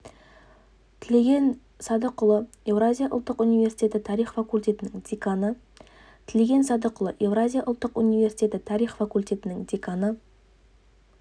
тілеген садықұлы еуразия ұлттық университеті тарих факультетінің деканы тілеген садықұлы еуразия ұлттық университеті тарих факультетінің деканы